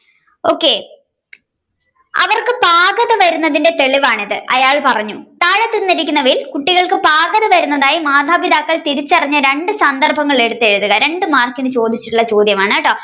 okay അവർക്ക് പാകതമേറുന്നതിന്റെ തെളിവാണിത് അയാൾ പറഞ്ഞു താഴെ തന്നിരിക്കുന്നവയിൽ കുട്ടികൾക്കു പാകതമേറുന്നതായി മാതാപിതാക്കൾ തിരിച്ചറിഞ്ഞ രണ്ടു സന്ദർഭങ്ങൾ എടുത്തെഴുതുക രണ്ടു മാർക്കിന് ചോദിച്ചിട്ടുള്ള ചോദ്യമാണ്.